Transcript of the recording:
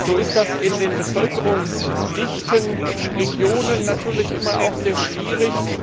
So ist das in den bevölkerungsdichten Regionen natürlich immer sehr schwierig.